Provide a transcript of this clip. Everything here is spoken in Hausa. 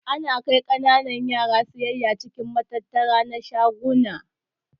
Ana kai kananan yara siyayya cikin matattara na shaguna.